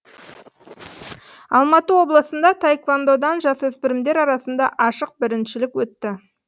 алматы облысында таэквондадан жасөспірімдер арасында ашық біріншілік өтті